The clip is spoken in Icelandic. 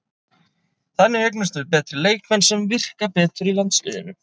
Þannig eignumst við betri leikmenn sem virka betur í landsliðinu.